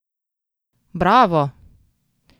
Bravo!